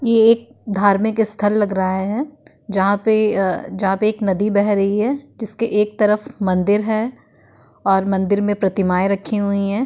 ये एक धार्मिक स्थल लग रहा है जहाँ पे अ जहाँ पे एक नदी बह रही है जिसके एक तरफ मंदिर है और मंदिर में प्रतिमाये रखी हुई हैं।